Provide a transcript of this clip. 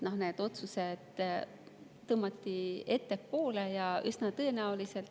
otsused tõmmati ettepoole.